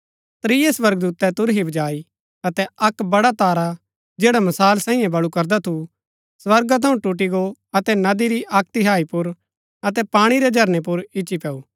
त्रियै स्वर्गदूतै तुरही बजाई अतै अक्क बड़ा तारा जैडा मशाल सांईये बळू करदा थू स्वर्गा थऊँ टूटी गो अतै नदी री अक्क तिहाई पुर अतै पाणी रै झरनै पुर इच्ची पैऊ